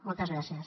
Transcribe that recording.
moltes gràcies